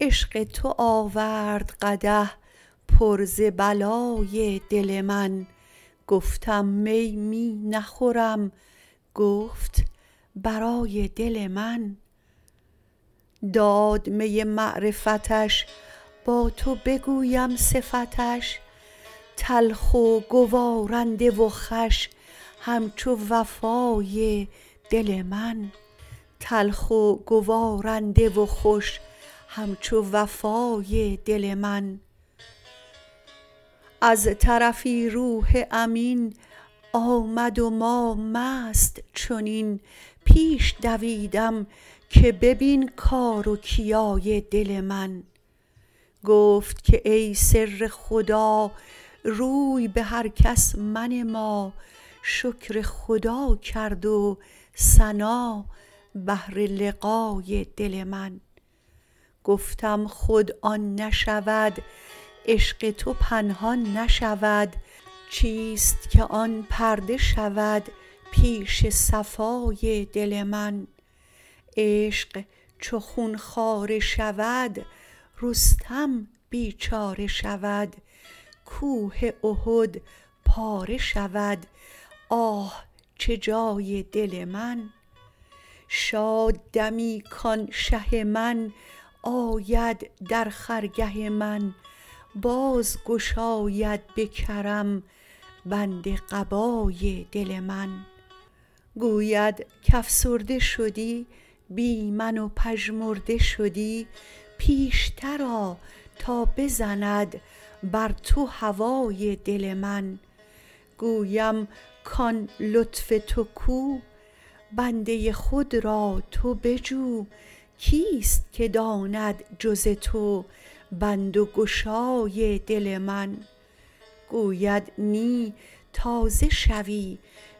عشق تو آورد قدح پر ز بلای دل من گفتم می می نخورم گفت برای دل من داد می معرفتش با تو بگویم صفتش تلخ و گوارنده و خوش همچو وفای دل من از طرفی روح امین آمد و ما مست چنین پیش دویدم که ببین کار و کیای دل من گفت که ای سر خدا روی به هر کس منما شکر خدا کرد و ثنا بهر لقای دل من گفتم خود آن نشود عشق تو پنهان نشود چیست که آن پرده شود پیش صفای دل من عشق چو خون خواره شود رستم بیچاره شود کوه احد پاره شود آه چه جای دل من شاد دمی کان شه من آید در خرگه من باز گشاید به کرم بند قبای دل من گوید که افسرده شدی بی من و پژمرده شدی پیشتر آ تا بزند بر تو هوای دل من گویم کان لطف تو کو بنده خود را تو بجو کیست که داند جز تو بند و گشای دل من گوید نی تازه شوی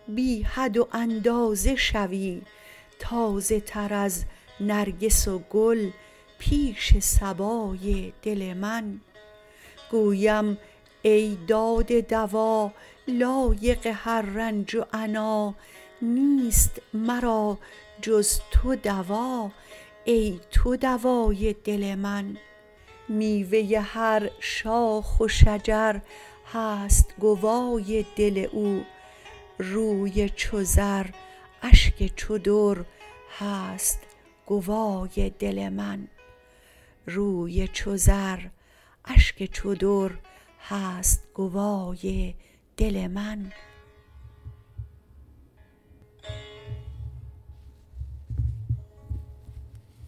بی حد و اندازه شوی تازه تر از نرگس و گل پیش صبای دل من گویم ای داده دوا لایق هر رنج و عنا نیست مرا جز تو دوا ای تو دوای دل من میوه هر شاخ و شجر هست گوای دل او روی چو زر اشک چو در هست گوای دل من